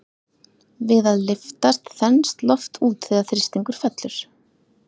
Við að lyftast þenst loft út þegar þrýstingur fellur.